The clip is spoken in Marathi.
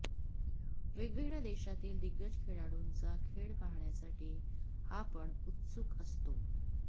वेगवेगळ्या देशातील दिग्गज खेळाडूंचा खेळ पहाण्यासाठी आपण उत्सुक असतो